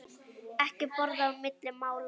Ekki borða á milli mála.